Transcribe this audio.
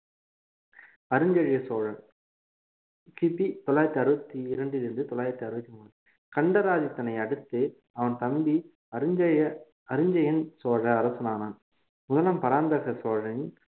அரிஞ்சய சோழன் கிபி தொள்ளாயிரத்தி அறுபத்தி இரண்டிலிருந்து தொள்ளாயிரத்து அறுபத்து மூன்று கண்டராதித்தினை அடுத்து அவன் தம்பி அருஞ்செயன் அரிஞ்சயன் சோழ அரசன் ஆனான் முதலாம் பராந்தக சோழனின்